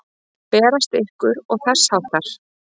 Berast ykkur. og þess háttar?